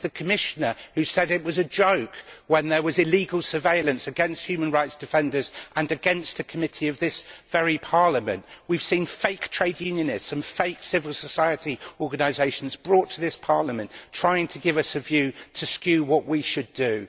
It is the Commissioner who said it was a joke when there was illegal surveillance against human rights defenders and against a committee of this very Parliament. We have seen fake trade unionists and fake civil society organisations brought to this Parliament and trying to give us a view so as to skew what we should do.